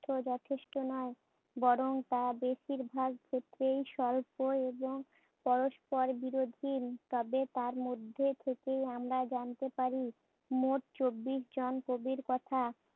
তথ্য যথেষ্ট নয়। বরং তা বেশীরভাগ ক্ষেত্রেই স্বল্প এবং পরস্পর বিরোধী। তবে তার মধ্যে কিছুই আমরা জানতে পারি। মোট চব্বিশ জন কবির কথা